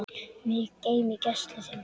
Mig geym í gæslu þinni.